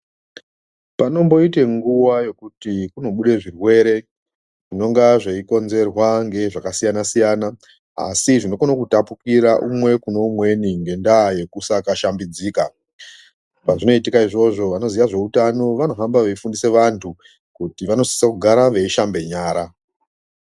Panomboite nguwa yekuti kunobude zvirwere zvinonga zveikonzerwa ngezvakasiyana siyana asi zvinokone kutapukira umwe kune umweni ngendaa yekusakashambidzika. Pazvinoitika izvozvo vanoziya zveutano vanohamba veifundisa vantu kuti vanosisa kugara veishambe nyara.